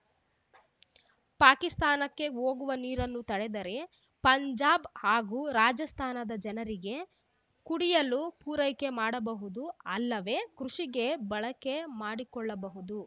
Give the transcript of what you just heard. ಪಾಕಿಸ್ತಾನಕ್ಕೆ ಹೋಗುವ ನೀರನ್ನು ತಡೆದರೆ ಪಂಜಾಬ್ ಹಾಗೂ ರಾಜಸ್ಥಾನದ ಜನರಿಗೆ ಕುಡಿಯಲು ಪೂರೈಕೆ ಮಾಡಬಹುದು ಅಲ್ಲವೇ ಕೃಷಿಗೆ ಬಳಕೆ ಮಾಡಿಕೊಳ್ಳಬಹುದು